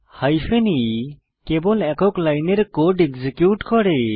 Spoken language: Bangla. হাইফেন e কেবল একক লাইনের কোড এক্সিকিউট করে